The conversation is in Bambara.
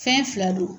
Fɛn fila don